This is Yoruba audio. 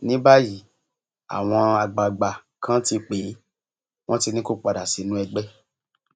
ní báyìí àwọn àgbààgbà kan ti pè é wọn ti ní kó padà sínú ẹgbẹ